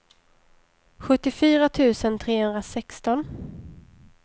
sjuttiofyra tusen trehundrasexton